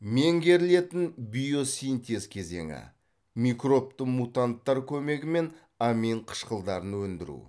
меңгерілетін биосинтез кезеңі микробты мутанттар көмегімен амин қышқылдарын өндіру